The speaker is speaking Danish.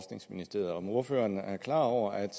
jeg om ordføreren er klar over at